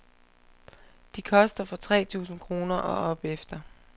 De koster fra tre tusind kroner og opefter.